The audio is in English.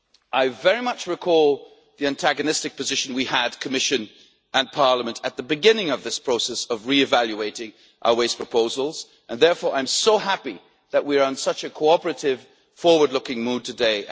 I very clearly recall the antagonistic position that we the Commission and Parliament had at the beginning of this process of re evaluating our waste proposals, and I am therefore very happy that we are in such a cooperative, forward-looking mood